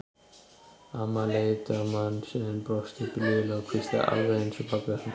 Amman leit á manninn sinn, brosti blíðlega og hvíslaði: Alveg eins og pabbi hans.